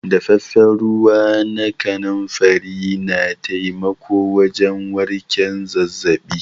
Daffafen ruwa na kanunfari na taimako wajen warken zazzabi.